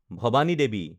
Bhavani Devi